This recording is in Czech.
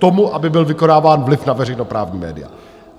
Tomu, aby byl vykonáván vliv na veřejnoprávní média.